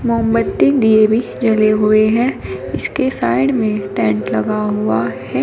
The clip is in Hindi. मोमबत्ती दीए भी जले हुए हैं इसके साइड में टेंट लगा हुआ है।